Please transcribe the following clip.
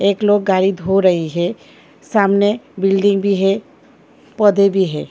एक लोग गाड़ी धो रही है सामने बिल्डिंग भी है पौधे भी है।